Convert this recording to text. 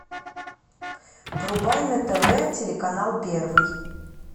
врубай на тв телеканал первый